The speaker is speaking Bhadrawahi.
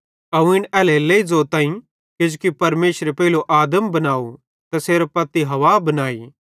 अवं इन एल्हेरेलेइ ज़ोताईं किजोकि परमेशरे पेइलो आदम बनाव तैसेरे पत्ती हव्वा बनाई